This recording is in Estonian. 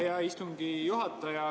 Aitäh, hea istungi juhataja!